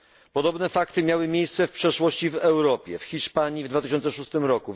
Podobne fakty miały miejsce w przeszłości w Europie w Hiszpanii w 2006 r.,